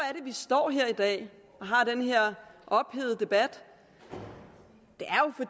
vi står her i dag og har den her ophedede debat